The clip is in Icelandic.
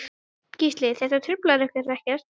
Gísli: Þetta truflar ykkur ekkert?